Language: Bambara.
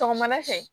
Sɔgɔmada fɛ